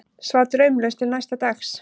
Svaf draumlaust til næsta dags.